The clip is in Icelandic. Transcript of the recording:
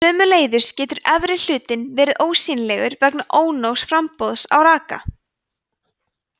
sömuleiðis getur efri hlutinn verið alveg ósýnilegur vegna ónógs framboðs á raka